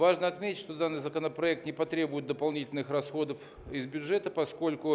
важно отметить что данный законопроект не потребует дополнительных расходов из бюджета поскольку